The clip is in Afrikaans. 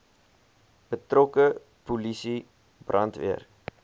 betrokke polisie brandweer